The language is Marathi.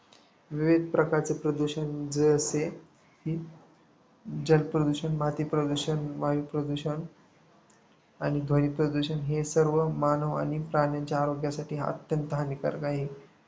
विविध प्रकारचे प्रदूषण जलप्रदूषण, मातीप्रदूषण, वायूप्रदूषण आणि ध्वनिप्रदूषण हे सर्व मानव आणि प्राण्यांच्या आरोग्यासाठी अत्यंत हानिकारी आहे.